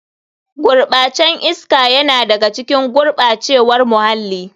Gurɓacen can iska yana da ga cikin gurɓacewar muhalli.